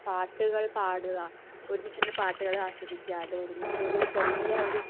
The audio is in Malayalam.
പാട്ടുകൾ പാടുക ഒരുമിച്ചിരുന്ന് പാട്ടുകൾ ആസ്വദിക്കുക അത് ഒരുമിച്ച് ഒരു ചെറിയ